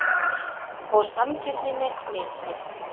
Og sanngirninni misskipt.